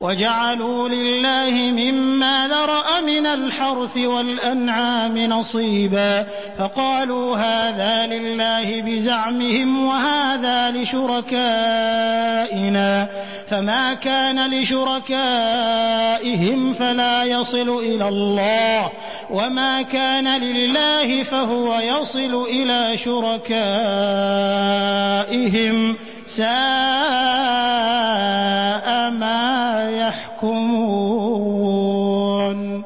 وَجَعَلُوا لِلَّهِ مِمَّا ذَرَأَ مِنَ الْحَرْثِ وَالْأَنْعَامِ نَصِيبًا فَقَالُوا هَٰذَا لِلَّهِ بِزَعْمِهِمْ وَهَٰذَا لِشُرَكَائِنَا ۖ فَمَا كَانَ لِشُرَكَائِهِمْ فَلَا يَصِلُ إِلَى اللَّهِ ۖ وَمَا كَانَ لِلَّهِ فَهُوَ يَصِلُ إِلَىٰ شُرَكَائِهِمْ ۗ سَاءَ مَا يَحْكُمُونَ